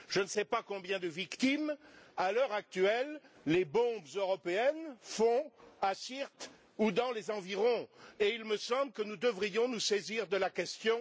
Je ne sais pas combien de victimes à l'heure actuelle les bombes européennes font à Syrte ou dans les environs, et il me semble que nous devrions nous saisir de la question.